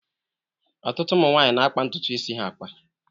Ọtụtụ ụmụ nwaanyi na-akpa ntutu isi ha akpa.